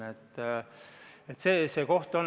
See on see koht.